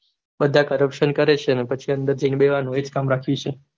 બધા corruption કરે છે અને પછી અંદર જઈને બેહ્વાનું એજ કામ બાકી છે